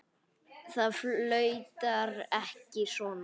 Það flautar ekki svona.